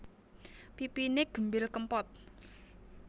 Pipiné gembil kempot